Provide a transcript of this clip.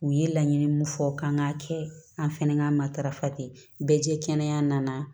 U ye laɲini mun fɔ k'an k'a kɛ an fɛnɛ ka matarafa ten bɛɛ jɛ kɛnɛ nana